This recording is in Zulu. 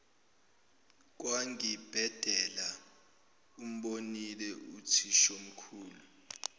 kwangibhedela umbonile uthishomkhulu